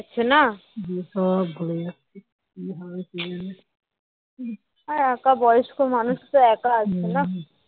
আর একা বয়স্ক মানুষ তো একা আছে না